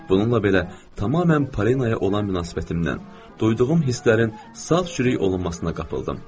Bununla belə tamamilə Polinaya olan münasibətimdən, duyduğum hisslərin sal-çürük olunmasına qapıldım.